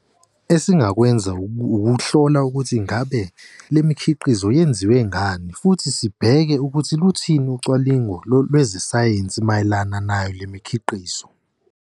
Esingakwenza ukuhlola ukuthi ngabe le mikhiqizo yenziwe ngani, futhi sibheke ukuthi luthini ucwaningo lezesayensi mayelana nayo le mikhiqizo.